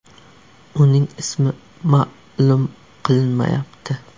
Uning ismi ma’lum qilinmayapti.